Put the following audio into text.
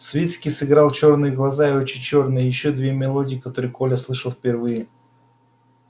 свицкий сыграл чёрные глаза и очи чёрные и ещё две мелодии которые коля слышал впервые